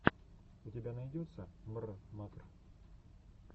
у тебя найдется мррмакр